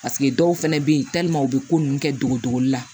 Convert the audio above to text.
Paseke dɔw fɛnɛ be yen u be ko nunnu kɛ dogodogoli la